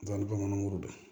Dɔngirun don